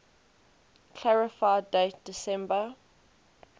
clarify date december